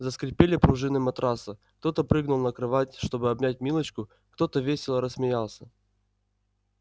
заскрипели пружины матраса кто-то прыгнул на кровать чтобы обнять милочку кто-то весело рассмеялся